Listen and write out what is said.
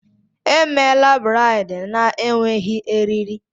Emela braid na-enweghị eriri!